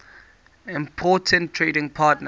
important trading partner